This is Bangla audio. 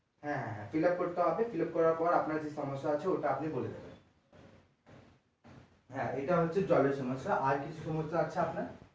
হ্যাঁ হ্যাঁ হ্যাঁ fillup করতে হবে fillup করার পর আপনার যে সমস্যা আছে সমস্যা টা আপনি বলে দেবেন হ্যাঁ এটা হচ্ছে জলের সমস্যা আর কিছু সমস্যা আছে আপনার?